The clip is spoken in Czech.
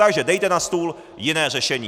Takže dejte na stůl jiné řešení.